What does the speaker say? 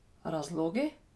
Razlogi?